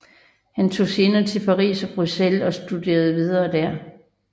Han tog senere til Paris og Bruxelles og studerede videre dér